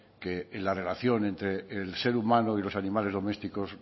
que en la relación entre el ser humano y los animales domésticos